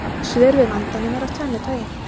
Svör við vandanum eru af tvennu tagi.